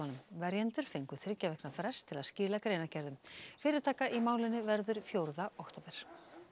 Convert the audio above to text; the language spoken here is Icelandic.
verjendur fengu þriggja vikna frest til að skila greinargerðum fyrirtaka í málinu verður fjórða október